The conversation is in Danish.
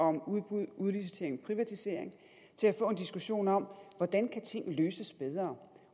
om udbududliciteringprivatisering til at få en diskussion om hvordan kan tingene løses bedre